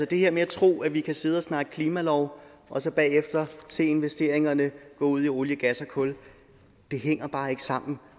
det her med at tro at vi kan sidde og snakke klimalov og så bagefter se investeringerne gå ud i olie gas og kul hænger bare ikke sammen